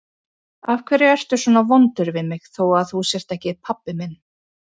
Af hverju ertu svona vondur við mig þó að þú sért ekki pabbi minn?